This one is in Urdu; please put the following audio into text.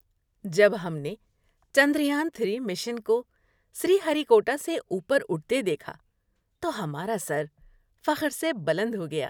جب ہم نے چندریان تھری مشن کو سری ہری کوٹا سے اوپر اٹھتے دیکھا تو ہمارا سر فخر سے بلند ہو گیا۔